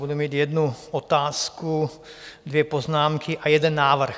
Budu mít jednu otázku, dvě poznámky a jeden návrh.